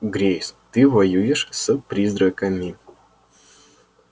грейс ты воюешь с призраками